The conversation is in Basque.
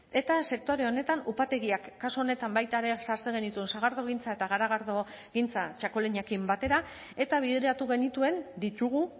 eta sektore honetan upategiak kasu honetan baita ere sartzen genituen sagardogintza eta garagardogintza txakolinarekin batera eta bideratu genituen ditugu